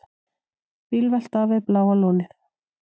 Bílvelta við Bláa lónið